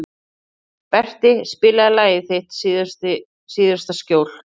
Berti, spilaðu lagið „Þitt síðasta skjól“.